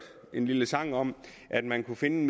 en lille sang om at man kunne finde